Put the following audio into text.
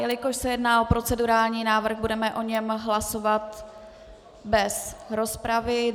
Jelikož se jedná o procedurální návrh, budeme o něm hlasovat bez rozpravy.